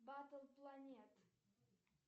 батл планет